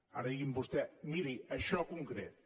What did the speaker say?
ara digui’m vostè miri això en concret